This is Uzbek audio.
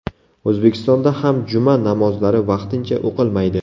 O‘zbekistonda ham juma namozlari vaqtincha o‘qilmaydi .